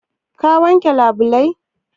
Kin wanke labulai?